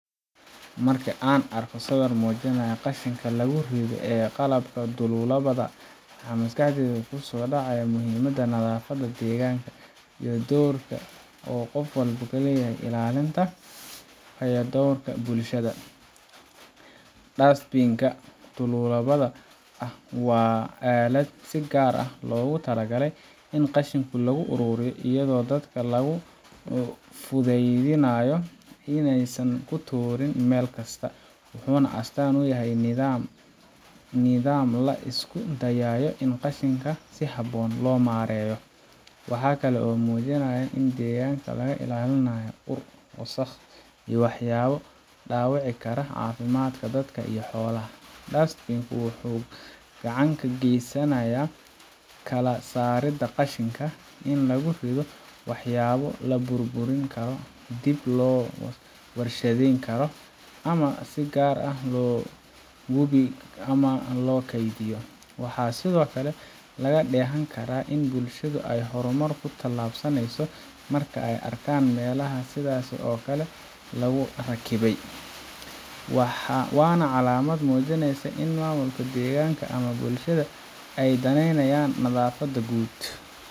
Marka aan arko sawir muujinaya qashinka lagu rido ee qaabka dhululubada ah , waxa maskaxdayda ku soo dhacaya muhiimadda nadaafadda, deegaanka, iyo doorka qof walba ku leeyahay ilaalinta bilicda iyo fayadhowrka bulshada. Dustbin kan dhululubada ah waa aalad si gaar ah loogu talagalay in qashinka lagu ururiyo, iyadoo dadka loogu fududeynayo in aysan ku tuurin meel kasta. Wuxuu astaan u yahay nidaam la isku dayayo in qashinka si habboon loo maareeyo. Waxa kale oo uu muujinayaa in deegaanka laga ilaalinayo ur, wasakh iyo waxyaabo dhaawici kara caafimaadka dadka iyo xoolaha. Dustbin ku wuxuu gacan ka geysanayaa kala saaridda qashinka in lagu rido waxyaabo la burburin karo, dib loo warshadeyn karo , ama si gaar ah loo gubo ama loo kaydiyo. Waxaa sidoo kale laga dheehan karaa in bulshadu ay horumar ku tallaabsaneyso marka ay arkaan meelaha sidaasi oo kale ah lagu rakibay, waana calaamad muujinaysa in maamulka deegaanka ama bulshada ay daneynayaan nadaafadda guud.